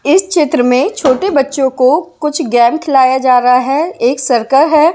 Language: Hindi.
इस क्षेत्र में छोटे बच्चों को कुछ गैम खिलाया जा रहा है एक सर्कल है।